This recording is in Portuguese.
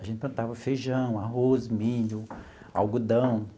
A gente plantava feijão, arroz, milho, algodão.